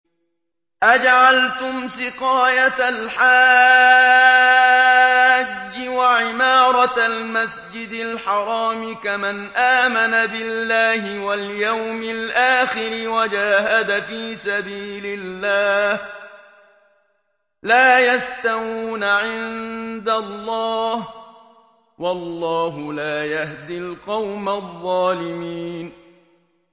۞ أَجَعَلْتُمْ سِقَايَةَ الْحَاجِّ وَعِمَارَةَ الْمَسْجِدِ الْحَرَامِ كَمَنْ آمَنَ بِاللَّهِ وَالْيَوْمِ الْآخِرِ وَجَاهَدَ فِي سَبِيلِ اللَّهِ ۚ لَا يَسْتَوُونَ عِندَ اللَّهِ ۗ وَاللَّهُ لَا يَهْدِي الْقَوْمَ الظَّالِمِينَ